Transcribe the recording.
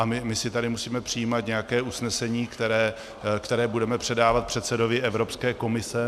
A my si tady musíme přijímat nějaké usnesení, které budeme předávat předsedovi Evropské komise?